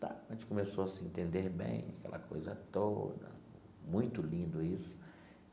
A gente começou a se entender bem, aquela coisa toda, muito lindo isso.